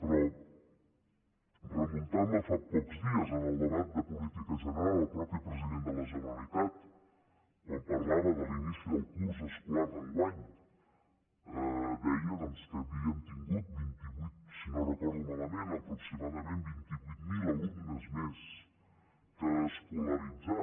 però remuntant me a fa pocs dies en el debat de política general el mateix president de la generalitat quan parlava de l’inici del curs escolar d’enguany deia doncs que havíem tingut si no ho recordo malament aproximadament vint vuit mil alumnes més per escolaritzar